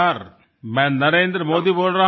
હું નરેન્દ્ર મોદી બોલી રહ્યો છું